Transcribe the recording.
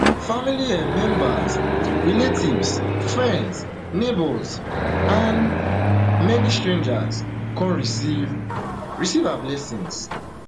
family um members relatives friends neighbours and many strangers come receive receive her blessings